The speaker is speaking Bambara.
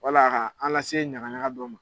Wala ka an lase ɲagaɲaga dɔ ma.